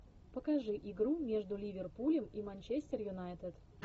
покажи игру между ливерпулем и манчестер юнайтед